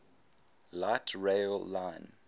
light rail line